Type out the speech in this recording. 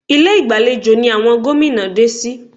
Ilé ìgbàlejò ni àwọn gómìnà dé sí